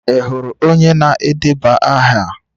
Ị hụrụ onye na-edeba aha?